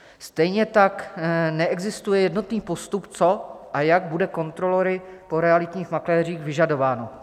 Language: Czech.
Stejně tak neexistuje jednotný postup, co a jak bude kontrolory po realitních makléřích vyžadováno.